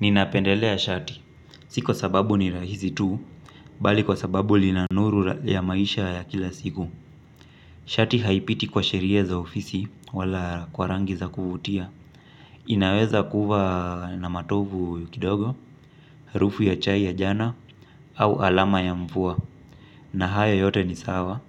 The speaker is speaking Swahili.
Ninapendelea shati, si kwa sababu ni rahisi tu bali kwa sababu lina nuru ya maisha ya kila siku. Shati haipiti kwa sheria za ofisi wala kwa rangi za kuvutia. Inaweza kuwa na matovu kidogo, harufu ya chai ya jana, au alama ya mvua, na hayo yote ni sawa